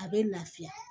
A bɛ lafiya